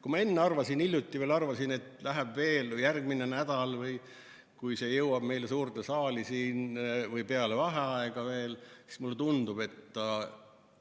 Kui ma hiljuti veel arvasin, et läheb veel järgmine nädal, kuni see jõuab siin meile suurde saali, siis mulle tundub, et